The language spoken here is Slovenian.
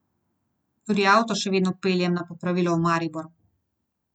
Tudi avto še vedno peljem na popravilo v Maribor.